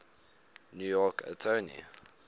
new york attorney